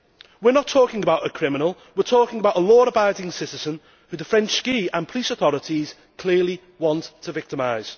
We are not talking about a criminal we are talking about a law abiding citizen whom the French ski and police authorities clearly want to victimise.